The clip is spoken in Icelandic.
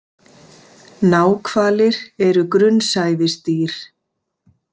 Náhvalir er grunnsævisdýr.